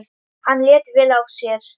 Hann lét vel af sér.